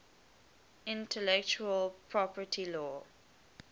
intellectual property law